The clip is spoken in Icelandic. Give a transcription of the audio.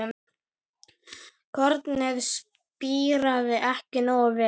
Kornið spíraði ekki nógu vel.